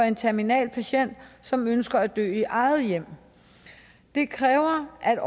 en terminal patient som ønsker at dø i eget hjem det kræver at